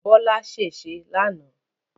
Bọ́lá ṣèṣé lánàá